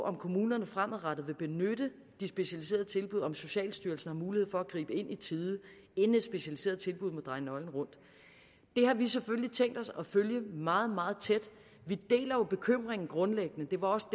om kommunerne fremadrettet vil benytte de specialiserede tilbud om socialstyrelsen har mulighed for at gribe ind i tide inden et specialiseret tilbud må dreje nøglen rundt det har vi selvfølgelig tænkt os at følge meget meget tæt vi deler jo bekymringen grundlæggende det var også